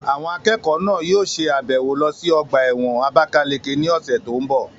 Àwọn akẹ́kọ̀ọ́ náà yóò ṣe àbẹ̀wò lọ sí ọgbà ẹ̀wọ̀n àbákáleke ní ọ̀sẹ̀ tó n bọ̀